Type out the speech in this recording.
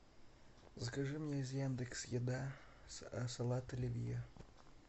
закажи мне из яндекс еда салат оливье